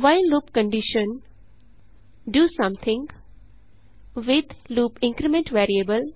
while loop condition do something with loop increment variable